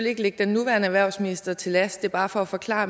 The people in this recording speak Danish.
ikke ligge den nuværende erhvervsminister til last det er bare for at forklare